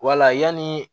Wala yanni